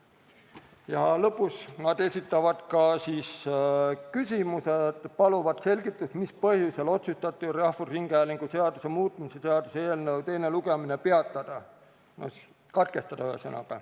Ja lõpus nad esitavad ka küsimuse, paluvad selgitust, mis põhjusel otsustati rahvusringhäälingu seaduse muutmise seaduse eelnõu teine lugemine peatada, ühesõnaga, katkestada.